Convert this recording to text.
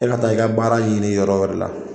E ka taa i ka baara ɲini yɔrɔ wɛrɛ la.